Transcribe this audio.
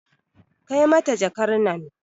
Kai mata jakar nan